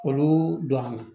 Olu donna